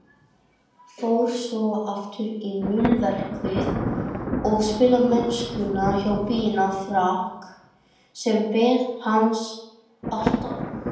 Fór svo aftur í múrverkið og spilamennskuna hjá Binna Frank sem beið hans alltaf.